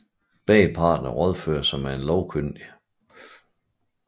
Begge parter rådførte sig med en lovkyndig